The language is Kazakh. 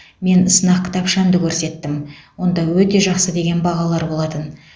мен сынақ кітапшамды көрсеттім онда өте жақсы деген бағалар болатын